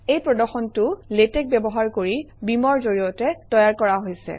এই প্ৰদৰ্শনটো লেটেক্স ব্যৱহাৰ কৰি beamer ৰ জৰিয়তে তৈয়াৰ কৰা হৈছে